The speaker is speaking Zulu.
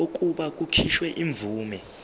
kokuba kukhishwe imvume